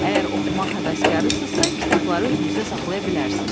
Əgər oxumaq həvəskarısınızsa, kitabları özünüzdə saxlaya bilərsiz.